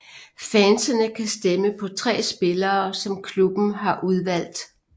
Fansene kan stemme på tre spillere som klubben har udvalgt